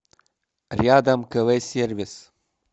рядом кв сервис